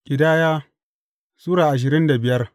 Ƙidaya Sura ashirin da biyar